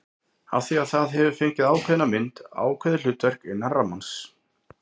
Af því það hefur fengið ákveðna mynd, ákveðið hlutverk, innan rammans.